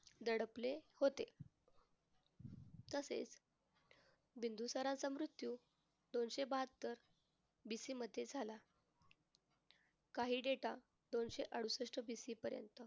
दडपले होते. तसेच बिंदुसाराचा मृत्यू दोनशे बाहत्तर bc मध्ये झाला. काही data दोनशे अडूसष्ट BC पर्यंत